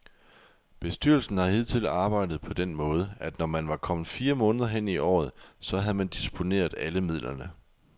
Bestyrelsen har hidtil arbejdet på den måde, at når man var kommet fire måneder hen i året, så havde man disponeret alle midlerne.